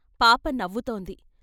పాప నవ్వుతోంది.